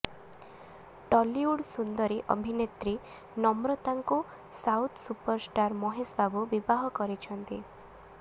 ଟଲିଉଡ୍ ସୁନ୍ଦରୀ ଅଭିନେତ୍ରୀ ନମ୍ରତାଙ୍କୁ ସାଉଥ୍ ସୁପରଷ୍ଟାର ମହେଶ ବାବୁ ବିବାହ କରିଛନ୍ତି